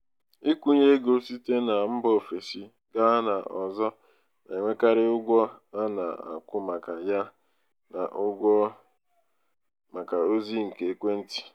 ịkwụnye ego site na mba ofesi gaa n'ọzọ na-enwekarị ụgwọ a na-akwụ maka ya ya na ụgwọ maka ozị nke ekwentị.